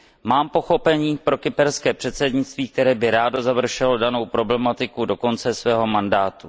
Mám pochopení pro kyperské předsednictví, které by rádo završilo danou problematiku do konce svého mandátu.